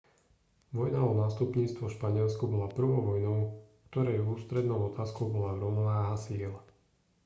vojna o nástupníctvo v španielsku bola prvou vojnou ktorej ústrednou otázkou bola rovnováha síl